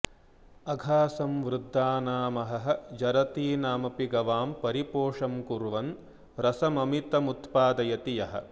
अघा सं वद्धानामहह जरतीनामपि गवां परीपोषं कुर्वन् रसममितमुत्पादयति यः